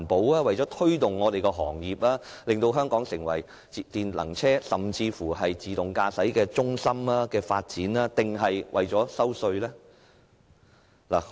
是為了推動行業以令香港成為電能車甚或自動駕駛技術的發展中心？